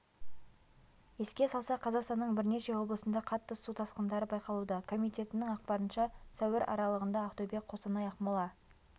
еске салсақ қазақстанның бірнеше облысында қатты су тасқындары байқалуда комитетінің ақпарынша сәуір аралығында ақтөбе қостанай ақмола